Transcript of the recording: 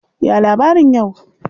Ya labarin yau?